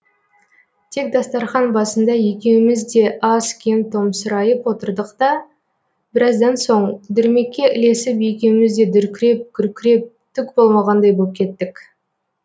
тек дастарқан басында екеуміз де аз кем томсырайып отырдық та біраздан соң дүрмекке ілесіп екеуміз де дүркіреп күркіреп түк болмағандай боп кеттік